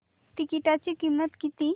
तिकीटाची किंमत किती